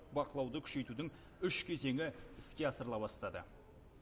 бақылауды күшейтудің үш кезеңі іске асырыла бастады